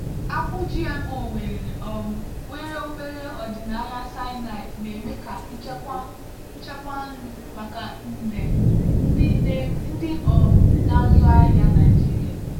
akpụ gmo nwere um obere ọdịnaya cyanide na-eme ka nchekwa nchekwa nri maka nde ndị um na-azụ ahịa naịjirịa.